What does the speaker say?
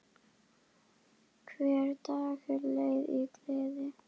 Hver dagur leið í gleði.